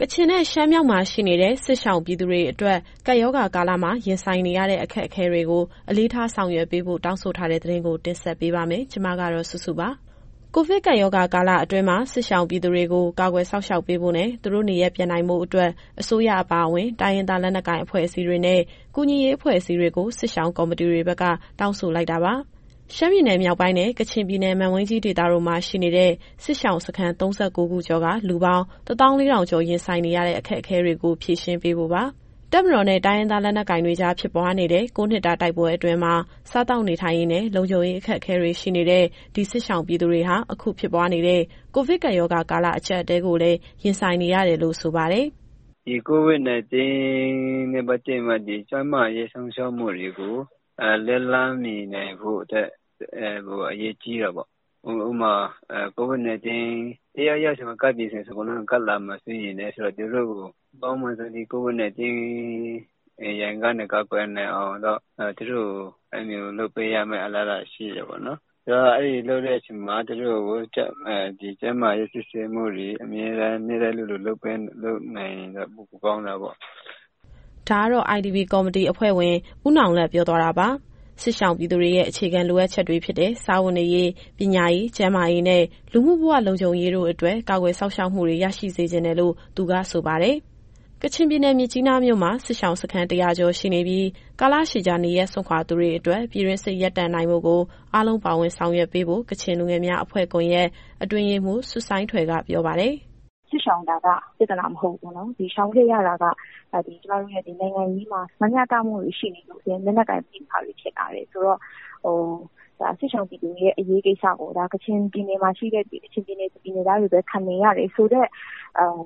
ကချင်နဲ့ ရှမ်းမြောက်မှာ ရှိနေတဲ့ စစ်ရှောင်ပြည်သူတွေအတွက် ကပ်ရောဂါကာလမှာ ရင်ဆိုင်နေရတဲ့ အခက်အခဲတွေကို အလေးထားဆောင်ရွက်ပေးဖို့ တောင်းဆိုထားတဲ့သတင်းကို တင်ဆက်ပေးပါမယ်။ ဒီအကြောင်း ဗွီအိုအေမြန်မာပိုင်းသတင်းထောက် မစုစုက တင်ပြပေးပါမယ်။ ကိုဗစ်ကပ်ရောဂါကာလအတွင်းမှာ စစ်ရှောင်ပြည်သူတွေကို ကာကွယ်စောင့်ရှောက်ပေးဖို့နဲ့ သူတို့နေရပ်ပြန်နိုင်ဖို့အတွက် အစိုးရအပါအဝင် တိုင်းရင်းသား လက်နက်ကိုင်အဖွဲ့အစည်းတွေနဲ့ ကူညီရေးအဖွဲ့အစည်းတွေကို စစ်ရှောင်ကော်မတီတွေဘက်က တောင်းဆိုလိုက်တာပါ။ ရှမ်းပြည်နယ်မြောက်ပိုင်းနဲ့ ကချင်ပြည်နယ် မန်ဝိန်းကြီးဒေသတို့မှာ ရှိနေတဲ့ စစ်ရှောင်းစခန်း ၃၉ ခုကျော်က လူပေါင်း ၁၄,၀၀၀ ကျော် ရင်ဆိုင်နေရတဲ့ အခက်အခဲတွေကို ဖြေရှင်းပေးဖို့ပါ။ တပ်မတော်နဲ့ တိုင်းရင်းသား လက်နက်ကိုင်တွေကြား ဖြစ်ပွားနေတဲ့ ၉ နှစ်တာ တိုက်ပွဲအတွင်းမှာ စားသောက်နေထိုင်ရေးနဲ့ လုံခြုံရေးအခက်အခဲတွေ ရှိနေတဲ့ ဒီစစ်ရှောင်ပြည်သူတွေဟာ အခုဖြစ်ပွားနေတဲ့ ကိုဗစ်ကပ်ရောဂါကာလ အကြပ်အတည်းကိုလည်း ရင်ဆိုင်နေရတယ်လို့ ဆိုပါတယ်။ “COVID-19 နဲ့ ပတ်သက်ပြီး ကျန်းမာရေးစောင့်ရှောက်မှုတွေကို လက်လှမ်းမီနိုင်ဖို့အတွက် အရေးကြီးတာပေါ့။ ဥပမာ COVID-19 တယောက်ယောက်စီမှာ ကပ်ပြီဆိုရင် အကုန်လုံးကိုကပ်လာနိုင်တော့ သူတို့ကို COVID-19 ရန်ကနေ ကာကွယ်နိုင်အောင်လို့ သူတို့ကိုလုပ်ပေးရမယ့် အလားအလာ ရှိတာပေါ့နော်။ အဲလိုမျိုးလုပ်တဲ့အချိန်မှာ တချို့ကို ဒီကျန်းမာရေး စစ်ဆေးမှုတွေ အမြဲတမ်း နေ့တိုင်းလိုလို လုပ်နိုင်ရင်တော့ ပိုကောင်းတာပေါ့။” ဒါကတော့ IDPs Committee အဖွဲ့ဝင် ဦးနောင်လတ်ပြောသွားတာပါ။ စစ်ရှောင်ပြည်သူတွေရဲ့ အခြေခံလိုအပ်ချက်တွေဖြစ်တဲ့ စားဝတ်နေရေး၊ ပညာရေး၊ ကျန်းမာရေးနဲ့ လူမှုဘဝလုံခြုံရေးတို့အတွက် ကာကွယ်စောင့်ရှောက်မှုတွေ ရရှိစေချင်တယ်လို့ သူကဆိုပါတယ်။ ကချင်ပြည်နယ်၊ မြစ်ကြီးနားမြို့မှာ စစ်ရှောင်စခန်း ၁၀၀ ကျော်ရှိနေပြီး ကာလရှည်ကြာ နေရပ်စွန့်ခွာသူတွေအတွက် ပြည်တွင်းစစ်ရပ်တန့်နိုင်ဖို့ကို အားလုံး ပါဝင်ဆောင်ရွက်ပေးဖို့ ကချင်လူငယ်များအဖွဲ့ကွန်ယက် အတွင်းရေးမှူး ဆွတ်ဆိုင်းထွယ်က ပြောပါတယ်။ “စစ်ရှောင်တာက ပြဿနာ မဟုတ်ဘူးပေါ့နော်။ ဒီရှောင်ခဲ့ရတာက နိုင်ငံရေးမှာ မမျှတမှုတွေရှိနေလို့ လက်နက်ကိုင်ပဋိပက္ခတွေ ဖြစ်လာတယ်ဆိုတော့ စစ်ရှောင်ပြည်သူတွေရဲ့ အရေးကိစ္စကို ကချင်ပြည်နယ်မှာရှိသူတွေပဲ ခံနေရတယ်ဆိုတဲ့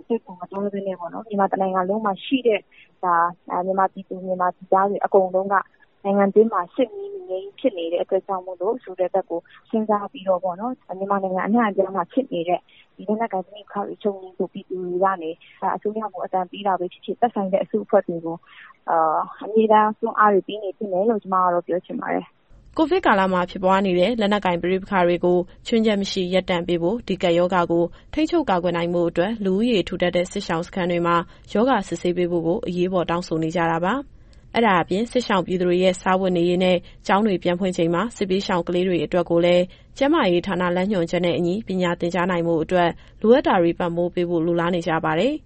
စိတ်ကို မသွင်းဘဲနဲ့ မြန်မာတနိုင်ငံလုံးမှာရှိတဲ့ ပြည်သားတွေအကုန်လုံးက နိုင်ငံတွင်း စစ်မီးမငြိမ်း ဖြစ်နေတဲ့အတွက်ကြောင့် ဆိုတာကိုစဉ်းစားပြီးတော့ မြန်မာနိုင်ငံ အနှံ့အပြားမှာ ဖြစ်နေတဲ့ ဒီလက်နက်ကိုင်ပဋိပက္ခတွေ ချုပ်ငြိမ်းဖို့ ပြည်သူတွေကနေ အစိုးရကို အသံပေးတာပဲဖြစ်ဖြစ် သက်ဆိုင်တဲ့အစုအဖွဲ့တွေကို အမြဲတမ်းတွန်းအားတွေ ပေးနေသင့်တယ်လို့ ကျမကတော့ ပြောချင်ပါတယ်။” ကိုဗစ်ကာလမှာ ဖြစ်ပွားနေတဲ့ လက်နက်ကိုင်ပဋိပက္ခတွေကို ခြွင်းချက်မရှိ ရပ်တန့်ပေးဖို့၊ ဒီကပ်ရောဂါကို ထိန်းချုပ်ကာကွယ်နိုင်ဖို့အတွက် လူဦးရေ ထူထပ်တဲ့ စစ်ရှောင်စခန်းတွေမှာ ရောဂါစစ်ဆေးပေးဖို့ကို အရေးပေါ်တောင်းဆိုနေကြတာပါ။ အဲဒါအပြင် စစ်ရှောင်ပြည်သူတွေရဲ့ စားဝတ်နေရေးနဲ့ ကျောင်းတွေ ပြန်ဖွင့်ချိန်မှာ စစ်ဘေးရှောင်ကလေးတွေ အတွက်ကိုလည်း ကျန်းမာရေးဌာန လမ်းညွှန်ချက်နဲ့အညီ ပညာသင်ကြားနိုင်ဖို့အတွက် လိုအပ်တာတွေကို ပံ့ပို့ပေးဖို့ လိုလားနေကြပါတယ်။